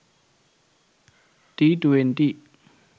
t20